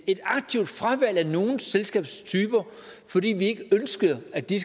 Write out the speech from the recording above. et aktivt fravalg af nogle selskabstyper fordi vi ikke ønskede at de